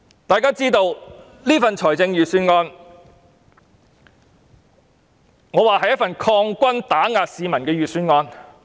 我認為這份預算案是一份擴軍打壓市民的預算案。